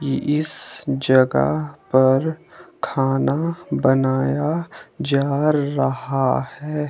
इस जगह पर खाना बनाया जा रहा है।